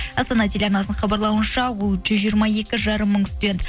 астана телеарнасының хабарлауынша ол жүз жиырма екі жарым мың студент